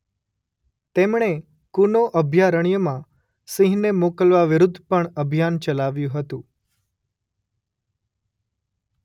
તેમણે કુનો અભયારણ્યમાં સિંહને મોકલવા વિરુદ્ધ પણ અભિયાન ચલાવ્યું હતું.